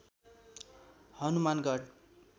Hanumangarh